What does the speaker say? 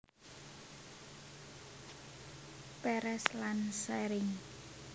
Peres lan saring